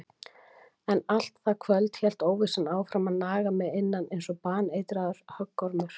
En allt það kvöld hélt óvissan áfram að naga mig innan einsog baneitraður höggormur.